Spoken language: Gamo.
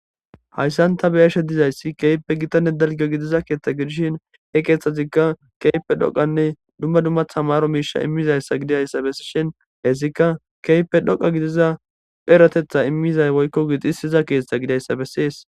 Hayssan ta be7ashe dizayssi keehippe gitanne dalgga gidiza keeththa gidishin he keethazikka keehippe dhoqqanne dumma dumma tamaro miishsha immizayssa gidiyayssa besishen hayssikka keehippe dhoqqa kidiza erateththa imiza woykko gixissiza keetha gidiyayssa besees.